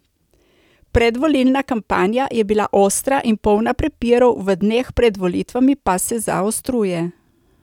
Predvolilna kampanja je bila ostra in polna prepirov, v dneh pred volitvami pa se zaostruje.